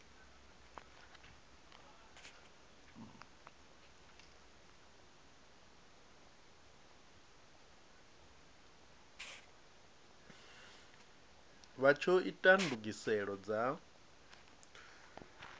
vha tsho ita ndugiselo dza